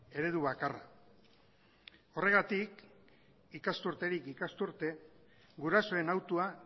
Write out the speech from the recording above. eredu bakarra horregatik ikasturterik ikasturte gurasoen hautua